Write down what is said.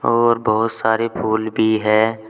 और बहुत सारे फूल भी है।